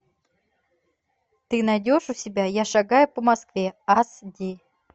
ты найдешь у себя я шагаю по москве ас ди